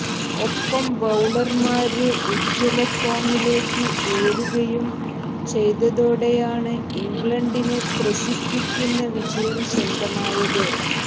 ഒപ്പം ബൌളര്മാര് ഉജ്ജ്വലഫോമിലേക്ക് ഉയരുകയും ചെയ്തതോടെയാണ് ഇംഗ്ലണ്ടിന് ത്രസിപ്പിക്കുന്ന വിജയം സ്വന്തമായത്